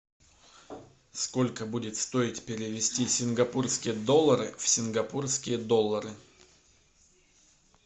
сколько будет стоить перевести сингапурские доллары в сингапурские доллары